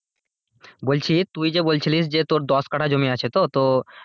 বলছি তুই যে বলছিস যে তোর দশকাঠা জমি আছে তো,